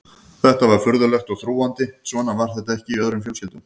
Þetta var furðulegt og þrúgandi, svona var þetta ekki í öðrum fjölskyldum.